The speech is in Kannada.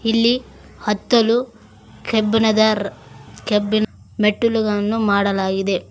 ಇಲ್ಲಿ ಹತ್ತಲು ಕೆಬ್ಬಿಣದ ರ್ ಕೆಬಿನ್ ಮೆಟ್ಟಿಲುಗನ್ನು ಮಾಡಲಾಗಿದೆ.